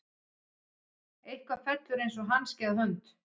Eitthvað fellur eins og hanski að hönd